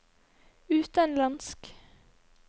utenlandsk